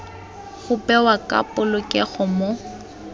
go bewa ka polokego mo